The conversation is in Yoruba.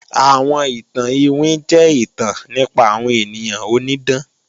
Àwọn ìtàn iwin jẹ́ ìtàn nípa àwọn ènìyàn onídán